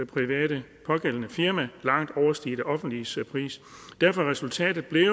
private firma langt overstige det offentliges pris derfor er resultatet blevet